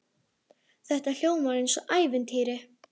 Þetta hljómar eins og í ævintýri.